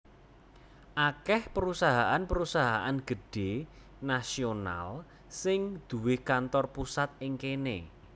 Akèh perusahaan perusahaan gedhé nasional sing duwé kantor pusat ing kéné